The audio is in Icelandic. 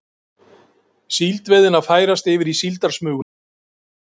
Síldveiðin að færast yfir í síldarsmuguna